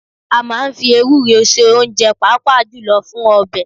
A máa ń fi ewúro se oúnjẹ, pàápàá jùlọ fún ọbẹ̀